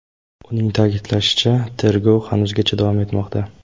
Uning ta’kidlashicha, tergov hanuzgacha davom etmoqda.